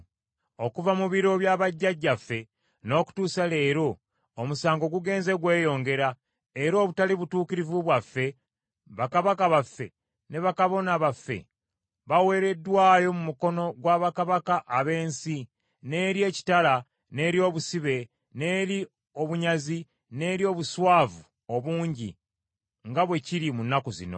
Okuva mu biro bya bajjajjaffe n’okutuusa leero, omusango gugenze gweyongera; era olw’obutali butuukirivu bwaffe, bakabaka baffe, ne bakabona baffe baweereddwayo mu mukono gwa bakabaka ab’ensi, n’eri ekitala, n’eri obusibe, n’eri obunyazi, n’eri obuswavu obungi, nga bwe kiri mu nnaku zino.